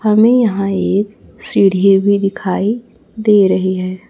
हमें यहां एक सीढ़ी भी दिखाई दे रही है।